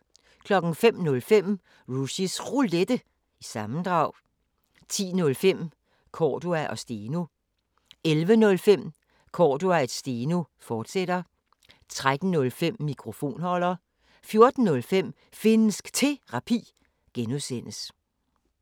05:05: Rushys Roulette – sammendrag 10:05: Cordua & Steno 11:05: Cordua & Steno, fortsat 13:05: Mikrofonholder 14:05: Finnsk Terapi (G)